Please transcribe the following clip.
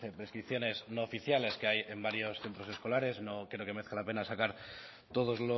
prescripciones no oficiales que hay en varios centros escolares no creo que merezca la pena sacar todos